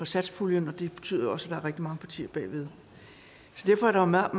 satspuljen og det betyder jo også at rigtig mange partier bag ved derfor er der meget